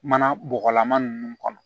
Mana bɔgɔlama ninnu kɔnɔ